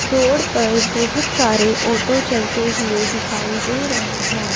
Road पर बहोत सारे ऑटो चलते हुए दिखाई दे रहे हैं।